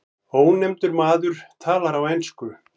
Ónefndur maður talar á ensku.